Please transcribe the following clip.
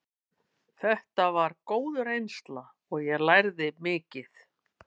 Þetta var góð reynsla og ég lærði mikið.